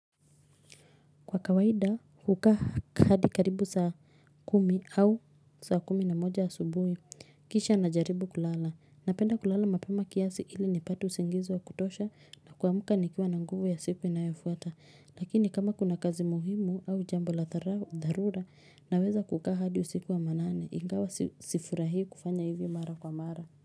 Kwa kawaida hukaa hadi karibu saa kumi au saa kumi na moja ya asubuhi, kisha najaribu kulala, napenda kulala mapema kiasi ili nipate usingizi wa kutosha na kuamka nikiwa na nguvu ya siku inayofuata, lakini kama kuna kazi muhimu au jambo la dharura, naweza kukaa hadi usiku wa manane, ingawa sifurahi kufanya hivyo mara kwa mara.